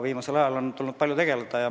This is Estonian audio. Viimasel ajal on tulnud sellega palju tegeleda.